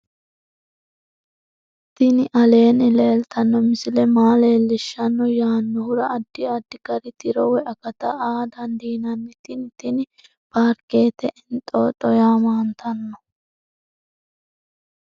tini aleenni leeltanno misile maa leellishshanno yaannohura addi addi gari tiro woy akata aa dandiinanni tini tini parkete entoto yaamantanno